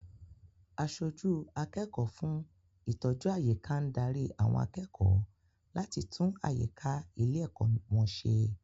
Aṣojú akẹ́kọ̀ọ́ fún ìtọ́jú àyíká ń dárí àwọn akẹ́kọ̀ọ́ láti tún àyíká ilé-ẹ̀kọ́ wọn ṣe.